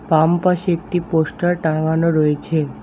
বাম পাশে একটি পোস্টার টাঙানো রয়েছে।